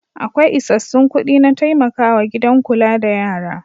Akwai isassun kuɗi na taimakawa gidan kula da yara.